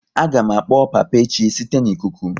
A ga m akpọ papa echi site n'ikuku